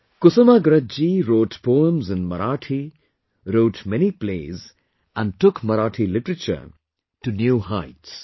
Kusumagraj ji wrote poems in Marathi, wrote many plays, and took Marathi literature to new heights